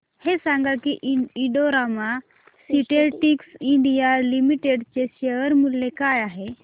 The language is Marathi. हे सांगा की Indo Rama synthetics India limited चे शेअर मूल्य काय आहे